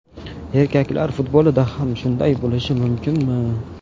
Erkaklar futbolida ham shunday bo‘lishi mumkinmi?